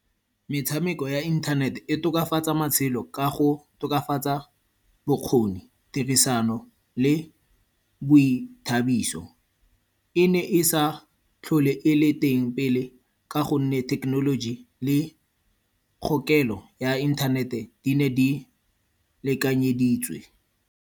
Metshameko ya inthanete e tokafatsa matshelo ka go tokafatsa bokgoni, tirisano le boithabiso. E ne e sa tlhole e le teng pele ka gonne thekenoloji le kgokelo ya inthanete di ne di lekanyeditswe.